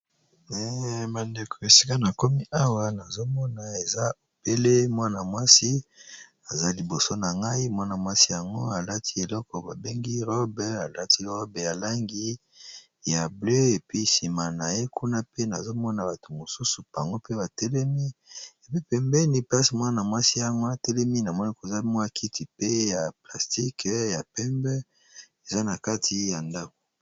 Bandeko esika na komi awa nazomona eza obele mwana mwasi aza liboso na ngai mwana-mwasi yango alati eleko babengi robe alati robe ya langi ya bleu epi nsima na ye kuna pe nazomona bato mosusu pango pe batelemi epe pembeni mpasi mwana mwasi yango atelemi na moleko zamwakiti pe ya plastike ya pembe eza na kati ya ndango